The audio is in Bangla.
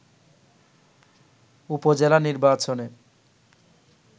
উপজেলা নির্বাচনে